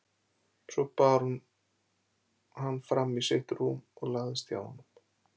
Svo bar hún hann fram í sitt rúm og lagðist hjá honum.